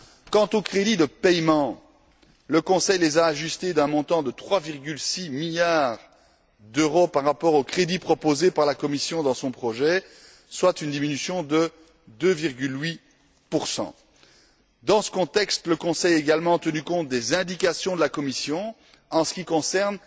Quant aux crédits de paiement, le Conseil les a ajustés d'un montant de 3,6 milliards d'euros par rapport aux crédits proposés par la Commission dans son projet, soit une diminution de 2,8 Dans ce contexte, le Conseil a également tenu compte des indications de la Commission en ce qui concerne